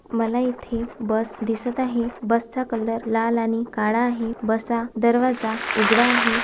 मला इथे बस दिसत आहे बस चा कलर लाल आणि काळा आहे बस चा दरवाजा उघडा आहे.